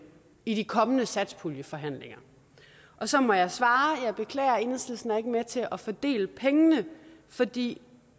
i de kommende satspuljeforhandlinger og så må jeg svare jeg beklager enhedslisten er ikke med til at fordele pengene fordi